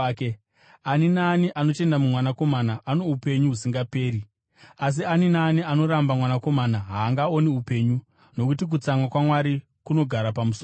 Ani naani anotenda muMwanakomana ano upenyu husingaperi, asi ani naani anoramba Mwanakomana haangaoni upenyu, nokuti kutsamwa kwaMwari kunogara pamusoro pake.”